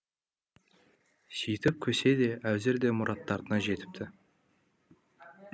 сөйтіп көсе де уәзір де мұраттарына жетіпті